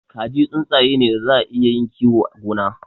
Kaji tsuntsaye ne daza a iya yin kiyo a gona.